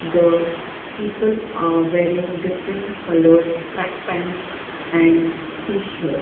the people are wearing different coloured track pants and t-shirt.